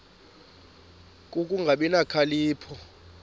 ku kungabi nokhalipho